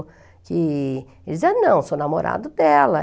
que... Ele dizia, não, sou namorado dela.